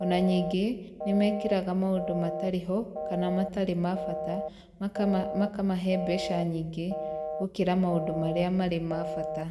O na ningĩ, nĩ mekĩraga maũndũ matarĩ ho, kana matarĩ ma bata, makama makamahe mbeca nyingĩ, gũkĩra maũndũ marĩa marĩ ma bata.